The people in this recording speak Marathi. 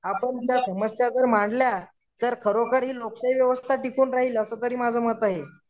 आपण त्या समस्या जर मांडल्या तर खरोखर ही लोकशाही व्यवस्था टिकून राहील असं तरी माझं मत आहे.